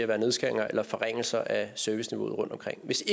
være nedskæringer eller forringelser af serviceniveauet rundtomkring hvis